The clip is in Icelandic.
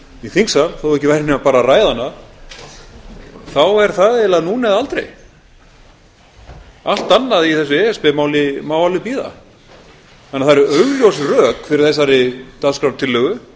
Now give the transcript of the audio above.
í þingsal þótt ekki væri nema bara að ræða hana er það eiginlega núna eða aldrei allt annað í þessu e s b máli má alveg bíða þannig að það eru augljós rök fyrir þessari dagskrártillögu